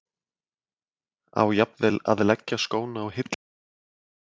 Á jafnvel að leggja skóna á hilluna?